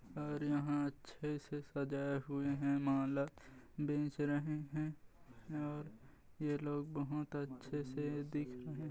और यहाँ अच्छे से सजाए हुए है माला बेच रहे हैं और ये लोग बहोत अच्छे से दिख रहे--